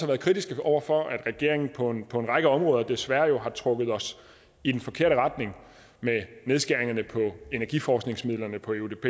været kritiske over for at regeringen på en række områder desværre har trukket os i den forkerte retning med nedskæringerne på energiforskningsmidlerne på eudp